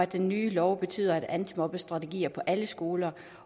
den nye lov betyder antimobbestrategier på alle skoler